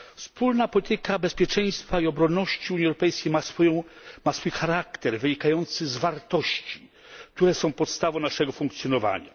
Wspólna polityka bezpieczeństwa i obronności Unii Europejskiej ma swój charakter wynikający z wartości, które są podstawą naszego funkcjonowania.